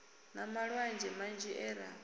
na malwadze manzhi e ra